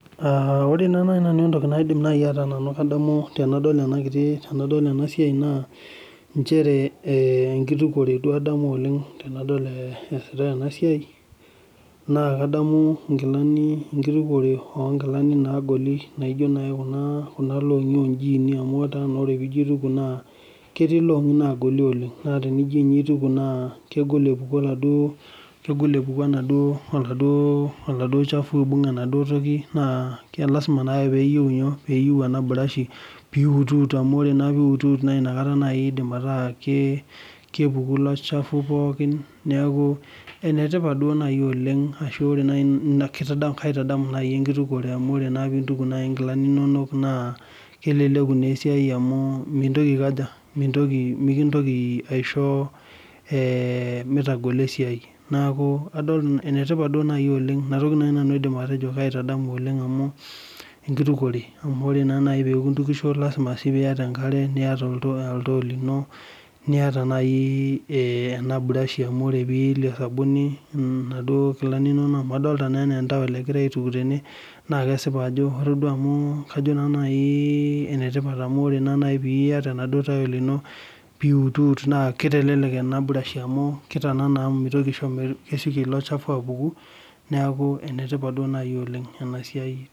Ore naa naji nanu entoki naidim atejo, tenadol ena kiti tenadol ena siai, naa enkitukuore adamu t nadol ena siai, naa kadamu, inkitukuore oo nkilani naagoli. naijo naaji Kuna longi oojini. naa tenijo aituku ketii illongi naagoli oleng kegol eouku enaduoo oladuoo shafu. ashu enaduo toki. neeku lasima pee eyieu eburashi. kepuku ilo shafu pookin teniiitit. neeku ene tipat naaji oleng kaitadamu naaji enkitukuore. amu ore naa pee intuku naaji nkilani nonok naa, kelelku naa esiai amu mintoki aikaja, mikintoki naisho mitagolo esiai, neeku adol enetipat duo oleng. ina toki aitadamu amu lasima pee iyata enkare niata oltoo limo. niata naaji ena burashi, amu ore pee iyelie nkilani nonok. amu adoolta anaa emtawel, egira aituku tene. naa kesipa amu ajo ene tipat amu ore pee iyata emtawel ino. pee iutiut naa kitelelelk amu kitananana.